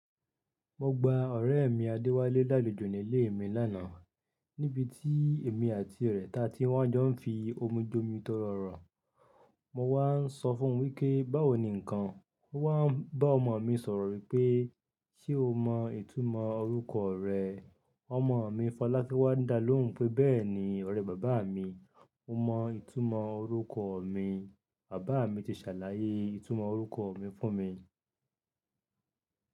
Mo gba ọ̀rẹ́ mi Adéwálé lálejò nílé mi lánàá níbi tí èmi àti rẹ̀ ta tí wọ́n jọ ń fi omi jomi toro ọrọ. Mo wá ń sọ fún wí pé, báwo ni nǹkan? Ó wá ń bá ọmọ mi sọ̀rọ̀ wípé, ṣe o mọ ìtumọ̀ orúkọ rẹ? Ọmọ mi Fọlákẹ́ wá ń dá lóhùn pé bẹ́ẹ̀ni ọ̀rẹ́ bàbá mi, mo mọ ìtumọ̀ orúkọ mi. Bàbá mi ti ṣàlàyé ìtumọ̀ orúkọ mi fún mi.